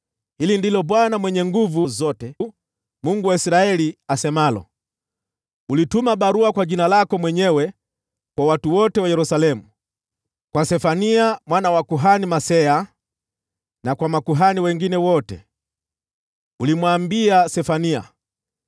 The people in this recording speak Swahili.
“Hili ndilo Bwana Mwenye Nguvu Zote, Mungu wa Israeli, asemalo: Ulituma barua kwa jina lako mwenyewe kwa watu wote wa Yerusalemu, kwa Sefania mwana wa kuhani Maaseya na kwa makuhani wengine wote. Ulimwambia Sefania,